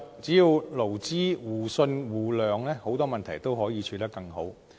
只要勞資互信互諒，很多問題都可以處理得更好。